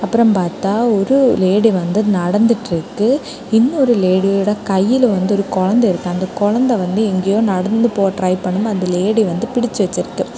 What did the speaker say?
அப்புறம் பார்த்தா ஒரு லேடி வந்து நடந்துட்டு இருக்கு இன்னொரு லேடியோட கையில வந்து ஒரு குழந்தை இருக்கு அந்த குழந்தை வந்து எங்கேயோ நடந்து போற ட்ரை பண்ணும் போது அந்த லேடி வந்து பிடிச்சு வெச்சிருக்கு.